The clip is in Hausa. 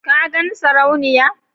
ka gan sarauniya